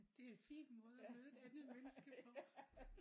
Det er et fint måde at møde et andet menneske på